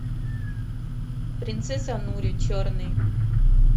принцесса нури черный